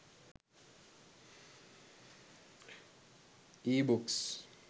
ebooks